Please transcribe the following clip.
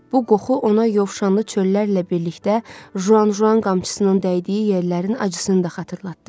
Bu qoxu ona yovşanlı çöllərlə birlikdə Juanjuan qamçısının dəydiyi yerlərin acısını da xatırlatdı.